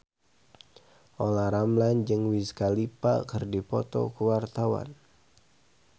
Olla Ramlan jeung Wiz Khalifa keur dipoto ku wartawan